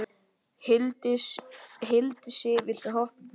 Hildisif, viltu hoppa með mér?